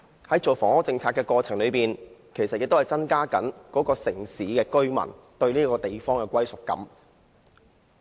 在制訂房屋政策的過程中，其實亦要考慮增加居民對該地方的歸屬感。